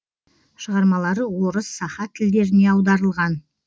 шығармалары орыс саха тілдеріне аударылған